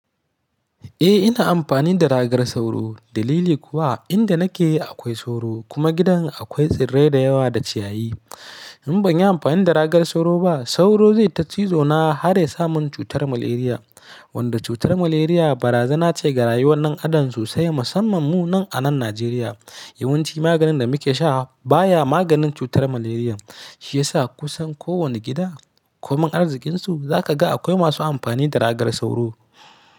Eh ina amfani da ragar sauro dalili kuwa inda nake yi akwai sauro kuma gidan akwai tsirrai da yawa da ciyayi. In ban yi amfani da ragar sauro ba sauro zai ta cizo na har ya sa mun cutar malaria wanda cutar malaria barazana ce ga rayuwan ɗan adam sosai musamman mu nan a nan Najeriya. Yawanci maganin da muke sha baya maganin cutar malaria shiyasa kusan ko wane gida komin arzikinsu za ka ga akwai masu amfani da ragar sauro.